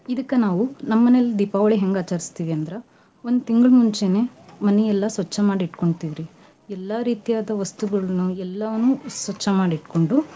ಇದಕ್ಕ ನಾವು ನಮ್ ಮನೇಲಿ ದೀಪಾವಳಿ ಹೆಂಗ್ ಆಚರ್ಸ್ತಿವಿ ಅಂದ್ರ, ಒಂದ್ ತಿಂಗ್ಳ ಮುಂಚೆನೆ ಮನಿ ಎಲ್ಲ ಸ್ವಚ್ ಮಾಡಿ ಇಟ್ಕೋಂತಿವರ್ರೀ ಎಲ್ಲಾ ರೀತಿಯಾದ ವಸ್ತುಗಳನ್ನು ಎಲ್ಲವನ್ನು ಸ್ವಚ್ ಮಾಡಿ ಇಟ್ಗೊಂಡು.